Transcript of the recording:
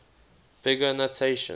big o notation